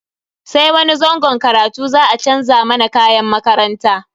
Sai wani zangon karatu za a chanza mana kayan makaranta.